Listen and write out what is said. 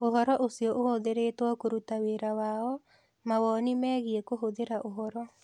Ũhoro ũcio ũhũthĩrĩtwo kũruta wĩra wao, mawoni megiĩ kũhũthĩra ũhoro